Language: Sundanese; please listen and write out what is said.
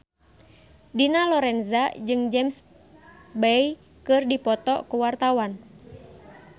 Dina Lorenza jeung James Bay keur dipoto ku wartawan